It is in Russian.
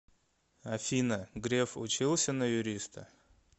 афина греф учился на юриста